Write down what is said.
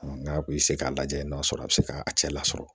n'a kun se k'a lajɛ n'a sɔrɔ a bɛ se k'a cɛ lasɔrɔ